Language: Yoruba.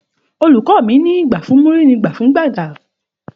Òlukọ mi ni; gbà fún múrì ni gbà fún gbàdá